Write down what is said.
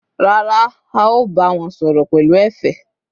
Rárá, a ò bá wọn sọ̀rọ̀ pẹ̀lú ẹ̀fẹ̀